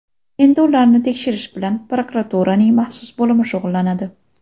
Endi ularni tekshirish bilan prokuraturaning maxsus bo‘limi shug‘ullanadi.